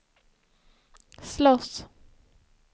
slåss